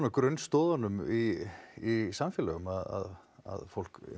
grunnstoðunum í í samfélaginu að fólk